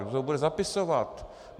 Kdo to bude zapisovat?